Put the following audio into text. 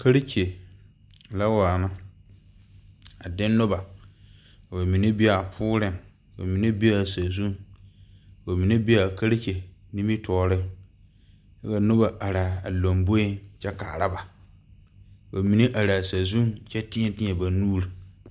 karekyɛ la waa na a de noba, ka ba mine be a poriŋ, ka ba mine be a sazu, ka ba mine be karekyɛ nime tooriŋ, ka noba are a lomboe kyɛ kaara ba, ka ba mine are a sazuiŋ kyɛ teɛteɛ ba nuuri